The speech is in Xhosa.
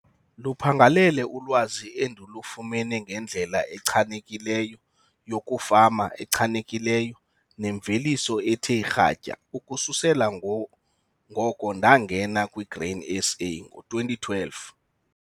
Luphangalele ulwazi endilufumene ngendlela echanekileyo yokufama echanekileyo nenemveliso ethe kratya ukususela ngoko ndangena kwiGrain SA ngo-2012.